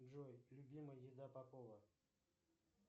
джой любимая еда попова